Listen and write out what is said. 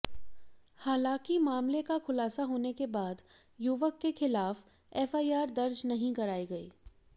हालांकि मामले का खुलासा होने के बाद युवक के खिलाफ एफआईआर दर्ज नहीं कराई गई